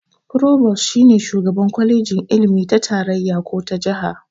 "Provost" shi ne shugaban kwalejin ilimi ta tarayya ko ta jaha.